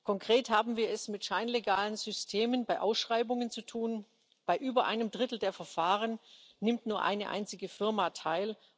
Konkret haben wir es mit scheinlegalen Systemen bei Ausschreibungen zu tun Bei über einem Drittel der Verfahren nimmt nur eine einzige Firma teil.